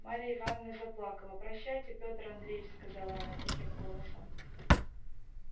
марья ивановна заплакала прощайте петр андреич сказала она тихим голосом